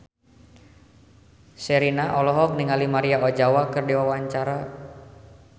Sherina olohok ningali Maria Ozawa keur diwawancara